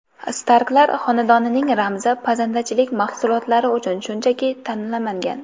Starklar xonadonining ramzi pazandachilik mahsulotlari uchun shunchaki tanlanmagan.